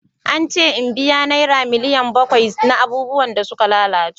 An ce in biya naira miliyan bakwai na abubuwan da suka lalace.